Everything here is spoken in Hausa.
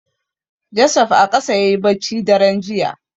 Joseph a ƙasa yayi bacci daren jiya.